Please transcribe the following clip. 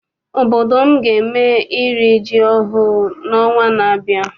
Obodo m ga eme iri ji ọhụụ n'ọnwa na-abịa.